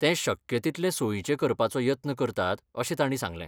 ते शक्य तितले सोयीचें करपाचो यत्न करतात अशें तांणी सांगलें